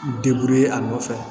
a nɔfɛ